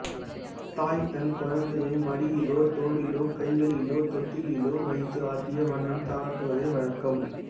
தாய் தன் குழந்தையை மடியிலோ தோளிலோ கைகளிலோ தொட்டிலிலோ வைத்து ஆட்டிய வண்ணம் தாலாட்டுவதே வழக்கம்